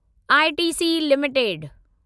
ITC limited